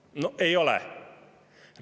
No ei ole!